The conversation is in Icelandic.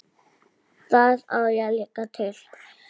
Það á ég líka til.